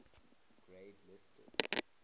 grade listed